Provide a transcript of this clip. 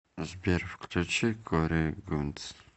сбер включи кори гунц